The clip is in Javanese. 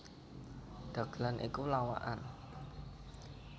Dhagelan iku lawakan